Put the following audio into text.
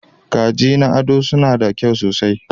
Kaji na ado suna da kyau sosai.